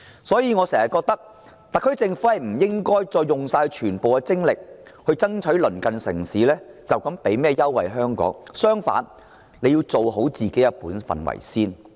所以，我覺得特區政府不應繼續耗盡全部精力爭取鄰近城市為香港提供甚麼優惠，反而，香港要先做好自己的本分。